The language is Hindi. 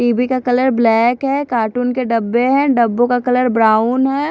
टी_ वि का कलर ब्लैक है कार्टून के डब्बे है डब्बो का कलर ब्राउन है।